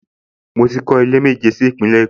Mo ti kọ́ ilé méjì sí Ìpínlẹ̀ Èkó